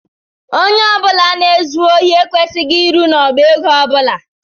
Ónyé ọbula na ezu ohi ekwesịghị ịrụ n' ọbá égo ọbula.